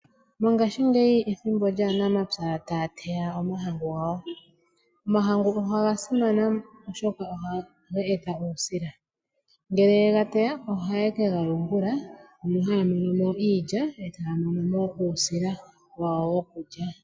Mongashingeyi ethimbo lyaanamapya taya teya omahangu gawo. Omahangu ogasimana oshoka ohaga eta uusila, ngele yegateya ohaye kegayungula, mono hayamonomo iilya e taya monomo uusila wawo wokukya.